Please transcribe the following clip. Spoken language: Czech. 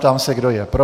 Ptám se, kdo je pro.